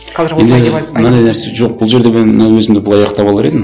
мынандай нәрсе жоқ бұл жерде мен мына өзімді былай аяқтап алар едім